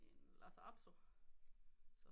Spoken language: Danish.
En lhasa apso